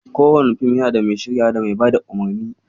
Kowane fim yana da mai shiryawa, da mai bada umarni